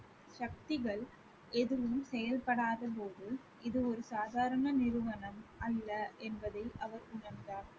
சக்திகள் எதுவும் செயல்படாத போது இது ஒரு சாதாரண நிறுவனம் அல்ல என்பதை அவர் உணர்ந்தார்